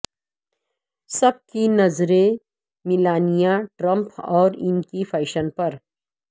سب کی نظریں Melania Trump اور ان کے فیشن پر